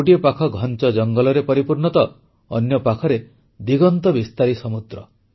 ଗୋଟିଏ ପାଖ ଘଂଚ ଜଙ୍ଗଲରେ ପରିପୂର୍ଣ୍ଣ ତ ଅନ୍ୟ ପାଖରେ ଦିଗନ୍ତ ବିସ୍ତାରୀ ସମୁଦ୍ର